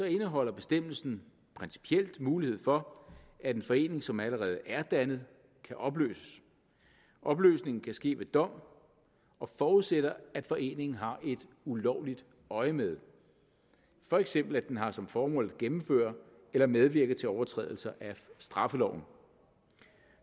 indeholder bestemmelsen principielt mulighed for at en forening som allerede er dannet kan opløses opløsningen kan ske ved dom og forudsætter at foreningen har et ulovligt øjemed for eksempel at den har som formål at gennemføre eller medvirke til overtrædelser af straffeloven